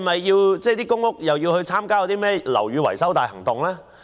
是否公屋也要參與樓宇維修大行動？